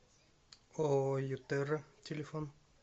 ооо ютерра телефон